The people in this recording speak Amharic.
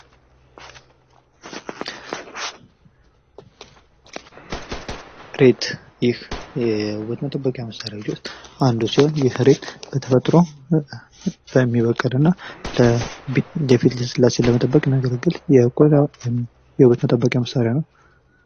ሬት ይህ ከዉበት መጠበቂያ መሳሪያዎች ዉስጥ አንዱ ሲሆን ይህ ሬት በተፈጥሮ የሚበቅል እና የፊት ልስላሴን ለመጠበቅ የሚያገለግል የቆዳ ወይም የዉበት መጠበቂያ ነው።